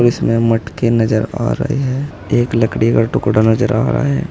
इसमें मटके नजर आ रहे हैं एक लकड़ी का टुकड़ा नजर आ रहा है।